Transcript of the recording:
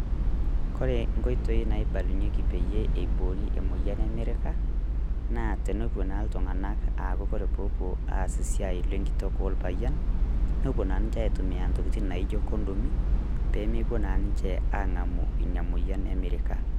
Kore nkoitoii naibalunyeki peyie iboori emoyian e mirika, na tenepuo naa iltung'anak aku ore popuo aas esiai lenkitok orpayiani, nopuo na ninche aitumia intokiting' naijo kondomi, pemepuo na ninche ang'amu ina moyian e mirika.